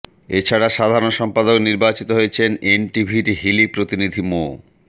এ ছাড়া সাধারণ সম্পাদক নির্বাচিত হয়েছেন এনটিভির হিলি প্রতিনিধি মো